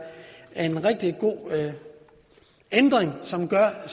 en rigtig god ændring som gør at